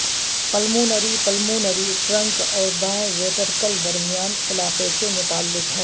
pulmonary pulmonary trunk اور دائیں ventricle درمیان علاقے سے متعلق ہے